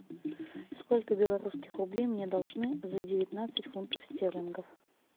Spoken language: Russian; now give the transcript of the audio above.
сколько белорусских рублей мне должны за девятнадцать фунтов стерлингов